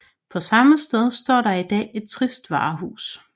På samme sted står der i dag et trist varehus